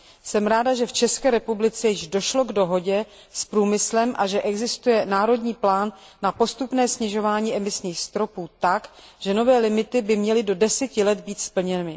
Jsem ráda, že v České republice již došlo k dohodě s průmyslem a že existuje národní plán na postupné snižování emisních stropů tak, že nové limity by měly být do deseti let splněny.